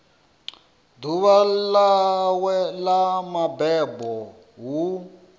ḓuvha ḽawe ḽa mabebo hu